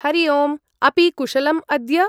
हरि ओम्, अपि कुशलम् अद्य?